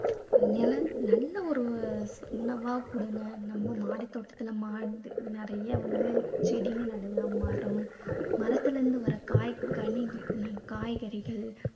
அதனால நல்ல ஒரு உணவா அஹ் கொடுங்க. நம்ம மாடித்தோட்டத்துல மாடி~ நிறைய வந்து செடிங்க நிறையா மரம், மரத்துலேந்து வர காய் கணி, எர் காய்கறிகள்